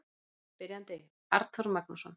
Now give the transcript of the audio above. Spyrjandi: Arnþór Magnússon